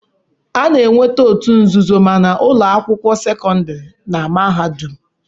A na-enweta otu nzuzo ma na ụlọ akwụkwọ sekọndiri na mahadum.